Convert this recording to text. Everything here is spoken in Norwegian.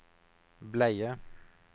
bleier